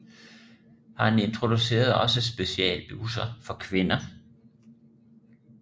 Han introducerede også specialbusser for kvinder